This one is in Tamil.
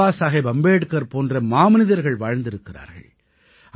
பாபாசாஹேப் அம்பேட்கர் போன்ற மாமனிதர்கள் வாழ்ந்திருக்கிறார்கள்